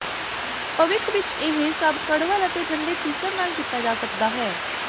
ਭਵਿੱਖ ਵਿੱਚ ਇਹ ਸਭ ਕੜਵੱਲ ਅਤੇ ਠੰਡੇ ਤੀਕੁਰ ਨਾਲ ਕੀਤਾ ਜਾ ਸਕਦਾ ਹੈ